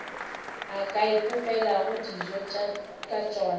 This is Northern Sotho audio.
ka ipopelago dijo tša tšona